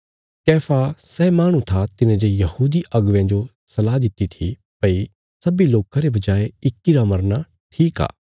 कैफा सै माहणु था तिने जे यहूदी अगुवेयां जो सलाह दित्ति थी भई सब्बीं लोकां रे बजाय इक्की रा मरना ठीक आ